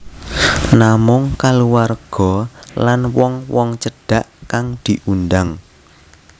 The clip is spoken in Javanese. Namung kaluwarga lan wong wong cedhak kang diundhang